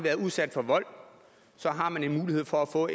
været udsat for vold så har man mulighed for at få